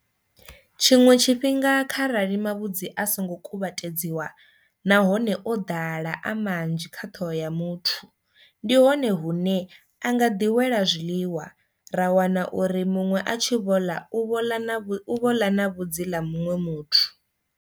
Tshiṅwe tshifhinga kha rali mavhudzi a songo kuvhatedziwa nahone o ḓala a manzhi kha ṱhoho ya muthu ndi hone hune a nga ḓi wela zwiḽiwa ra wana uri muṅwe a tshi vho ḽa u vhoḽa na vhu u vhoḽa na vhudzi la muṅwe muthu.